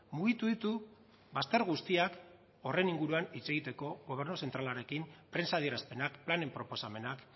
mugitu ditu bazter guztiak horren inguruan hitz egiteko gobernu zentralarekin prentsa adierazpenak planen proposamenak